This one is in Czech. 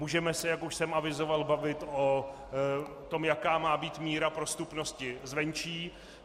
Můžeme se, jak už jsem avizoval, bavit o tom, jaká má být míra prostupnosti zvenčí.